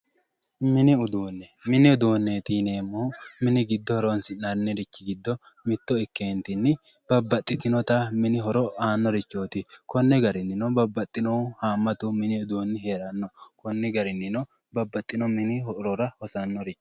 Mini uduune, mini uduune yineemmohu mini giddo horonsi'nannirichi giddo mitto ikketinni babbaxitinotta mini horo aanorichoti konni garinni babbaxinohu hamatu mini heerano konni garininno babbaxino mini horora hosano.